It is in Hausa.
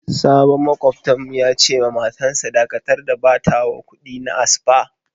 Sabon makwabta'n mu ya ce ma matan sa" Dakatar da batawa kudi na a spa!"